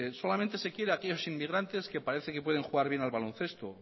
solamente se quiere a aquellos inmigrantes que parece que pueden jugar bien a baloncesto